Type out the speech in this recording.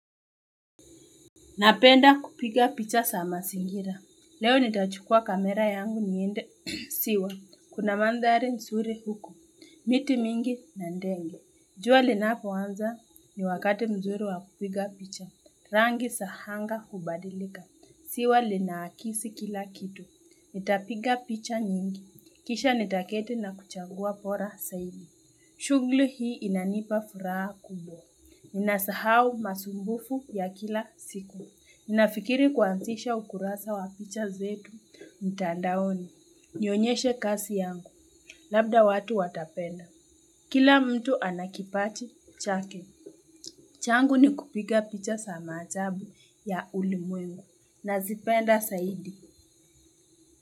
Napenda kupiga picha sama singira. Leo nitachukua kamera yangu niende siwa. Kuna mandhari nsuri huku. Miti mingi na ndenge. Jua linapo anza ni wakati mzuri wa kupiga picha. Rangi sahanga hubadilika. Siwa linaakisi kila kitu. Nitapiga picha nyingi. Kisha nitaketi na kuchagua pora saidi. Chugli hii inanipa furaha kubwa. Ninasahau masumbufu ya kila siku. Ninafikiri kuanzisha ukurasa wa picha zetu, mtandaoni, nionyeshe kasi yangu, labda watu watapenda. Kila mtu anakipati, chake. Changu ni kupiga picha sama achabu ya ulimwengu, nazipenda saidi.